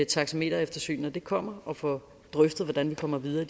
taxametereftersyn når det kommer og får drøftet hvordan vi kommer videre